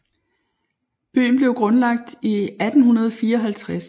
Byen blev grundlagt i 1854 og har gennem hele sin levetid hovedsageligt været et turistmål